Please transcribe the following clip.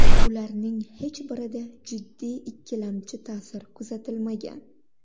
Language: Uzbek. Ularning hech birida jiddiy ikkilamchi ta’sir kuzatilmagan.